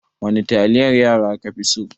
Wani taliyar yara ka fi so?